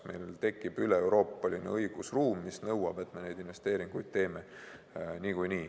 Meil tekib üleeuroopaline õigusruum, mis nõuab, et me neid investeeringuid teeksime niikuinii.